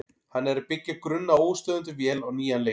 Hann er að byggja grunn að óstöðvandi vél á nýjan leik.